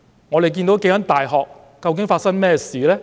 我們看到數間大學究竟發生甚麼事呢？